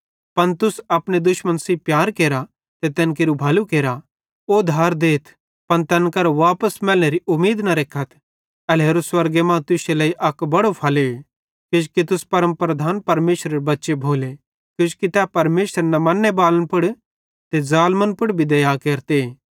पन तुस अपने दुश्मन सेइं प्यार केरा ते तैन केरू भलू केरा ओधार देइयथ पन तैन करां वापस मैलनेरी उमीद न रेखथ एल्हेरो स्वर्गे मां तुश्शे लेइ अक बड़ो फले किजोकि तुस परमप्रधान परमेशरेरे बच्चे भोले किजोकि तै परमेशर न मन्ने बालन पुड़ ते ज़ालमन पुड़ भी दया केरते